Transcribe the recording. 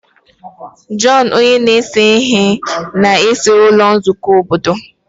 John onye na-ese ihe na-ese ụlọ nzukọ obodo.